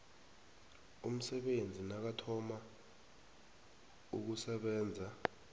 umsebenzi nakathoma ukusebenza